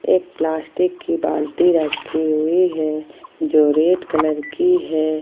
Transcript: एक प्लास्टिक की बाल्टी रखी हुई है जो रेड कलर की है ।